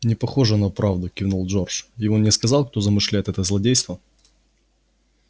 непохоже на правду кивнул джордж и он не сказал кто замышляет это злодейство